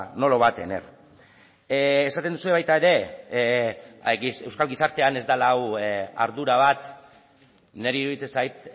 no lo va a tener esaten duzue baita ere euskal gizartean ez dela hau ardura bat niri iruditzen zait